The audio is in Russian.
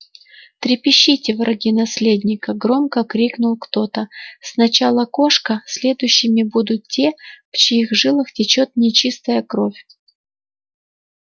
трепещите враги наследника громко крикнул кто-то сначала кошка следующими будут те в чьих жилах течёт нечистая кровь